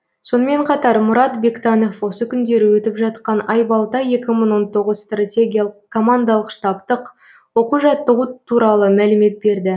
сонымен қатар мұрат бектанов осы күндері өтіп жатқан айбалта екі мың он тоғызыншы стратегиялық командалық штабтық оқу жаттығу туралы мәлімет берді